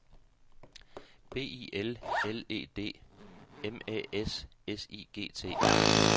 B I L L E D M Æ S S I G T